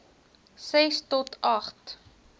ses to agt